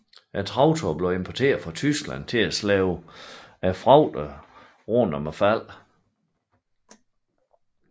Traktorer blev importeret fra Tyskland til at slæbe fragterne rund om faldene